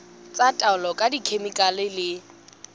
tsa taolo ka dikhemikhale le